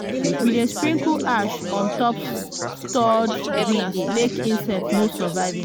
we dey sprinkle ash on top stored beans make insect no survive